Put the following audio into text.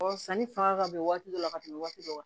sanni fanga ka bon waati dɔ la ka tɛmɛ waati dɔ kan